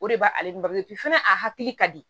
O de b'ale ba fana a hakili ka di